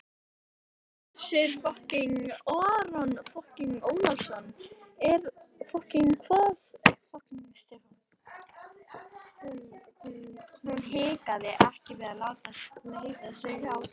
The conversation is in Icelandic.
Hersir Aron Ólafsson: Eða hvað Stefán?